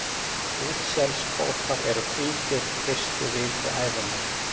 Útselskópar eru hvítir fyrstu vikur ævinnar.